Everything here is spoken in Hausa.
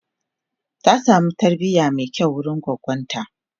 ta samu tarbiya Mai kyau wurin goggonta